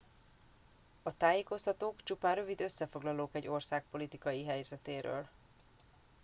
a tájékoztatók csupán rövid összefoglalók egy ország politikai helyzetéről